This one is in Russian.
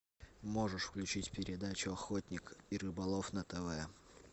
можешь включить передачу охотник и рыболов на тв